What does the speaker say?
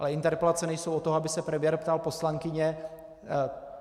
Ale interpelace nejsou od toho, aby se premiér ptal poslankyně.